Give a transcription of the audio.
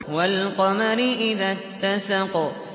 وَالْقَمَرِ إِذَا اتَّسَقَ